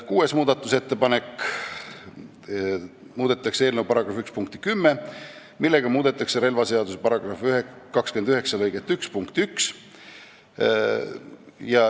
Kuues muudatusettepanek, sellega muudetakse eelnõu § 1 punkti 10, millega muudetakse relvaseaduse § 29 lõike 1 punkti 1.